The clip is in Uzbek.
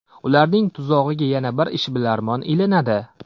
Ularning tuzog‘iga yana bir ishbilarmon ilinadi.